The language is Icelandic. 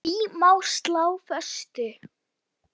Því má slá föstu.